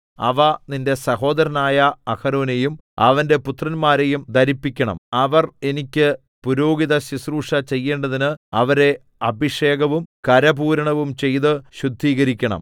അവ നിന്റെ സഹോദരനായ അഹരോനെയും അവന്റെ പുത്രന്മാരെയും ധരിപ്പിക്കണം അവർ എനിക്ക് പുരോഹിതശുശ്രൂഷ ചെയ്യേണ്ടതിന് അവരെ അഭിഷേകവും കരപൂരണവും ചെയ്ത് ശുദ്ധീകരിക്കണം